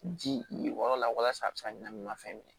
Ji wɔɔrɔ la walasa a bɛ se ka ɲɛnaminima fɛn minɛ